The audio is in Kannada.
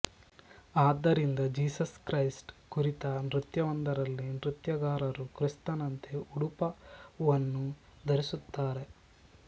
ಆದ್ದರಿಂದ ಜೀಸಸ್ ಕ್ರೈಸ್ಟ್ ಕುರಿತ ನೃತ್ಯವೊಂದರಲ್ಲಿ ನೃತ್ಯಗಾರರು ಕ್ರಿಸ್ತನಂತೆ ಉಡುಪವನ್ನು ಧರಿಸುತ್ತಾರೆ